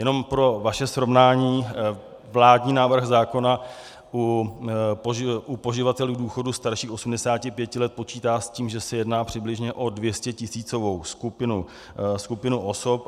Jenom pro vaše srovnání, vládní návrh zákona u poživatelů důchodu starších 85 let počítá s tím, že se jedná přibližně o 200tisícovou skupinu osob.